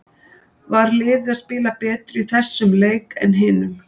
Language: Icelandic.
Var liðið að spila betur í þessum leik en hinum?